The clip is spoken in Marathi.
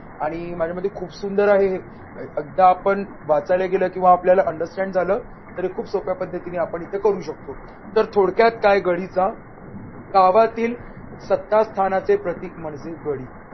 आणि माझ्या मध्ये खूप सुंदर आहे हे एकदा पण वाचायला गेलं किंवा आपल्याला understand झालं तर खूप सोप्या पद्धतीने आपण इथे करु शकतो. तर थोडक्यात काय गडीचा गावातील श्रद्धास्थानाचे प्रतीक म्हणजे गडी.